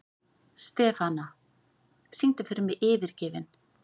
Stefana, syngdu fyrir mig „Yfirgefinn“.